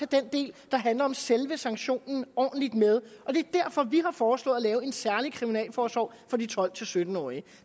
den del der handler om selve sanktionen ordentligt med og det er derfor vi har foreslået at lave en særlig kriminalforsorg for de tolv til sytten årige